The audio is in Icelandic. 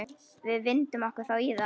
Vindum okkur þá í það.